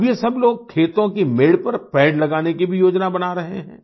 अब ये सब लोग खेतों की मेड़ पर पेड़ लगाने की भी योजना बना रहे हैं